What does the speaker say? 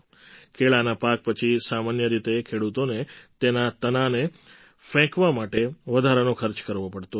કેળાના પાક પછી સામાન્ય રીતે ખેડૂતોને તેના તનાને ફેંકવા માટે વધારાનો ખર્ચ કરવો પડતો હતો